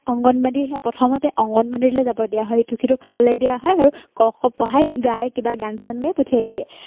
অংগনবাদীহে প্ৰথমতে অংগনবাদীলে যাব দিয়া হয় ইটো-সিটো খাবলৈ দিয়া হয় আৰু ক, খ পঢ়াই গাই কিবা গান-চান গাই পঠিয়াই দিয়ে।